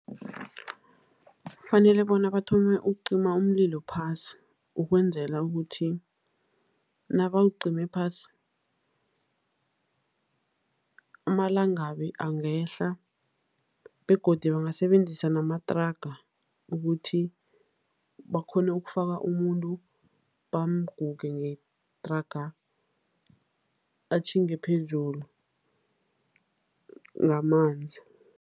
Kufanele bona bathome ukucima umlilo phasi ukwenzela ukuthi nabawucime phasi, amalangabi angehla begodu bangasebenzisa namathraga ukuthi bakghone ukufaka umuntu, bamguge ngethraga, atjhinge phezulu ngamanzi.